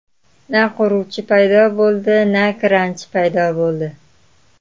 Na quruvchi paydo bo‘ldi, na kranchi paydo bo‘ldi.